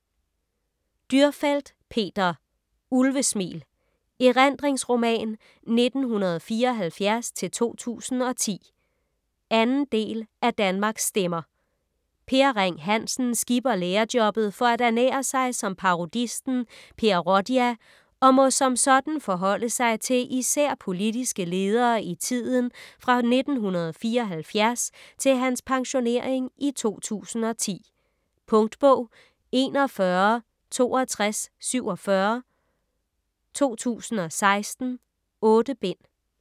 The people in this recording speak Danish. Dürrfeld, Peter: Ulvesmil: erindringsroman 1974-2010 2. del af Danmarks stemmer. Per Ring Hansen skipper lærerjobbet for at ernære sig som parodisten Per Rodia og må som sådan forholde sig til især politiske ledere i tiden fra 1974 til hans pensionering i 2010. Punktbog 416247 2016. 8 bind.